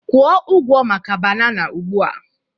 Kwụ ụgwọ maka banana ugbu a!